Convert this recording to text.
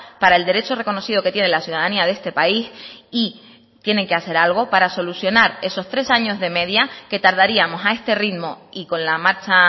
para el derecho reconocido que tiene la ciudadanía de este país y tienen que hacer algo para solucionar esos tres años de media que tardaríamos a este ritmo y con la marcha